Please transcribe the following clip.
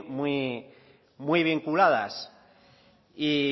muy muy vinculadas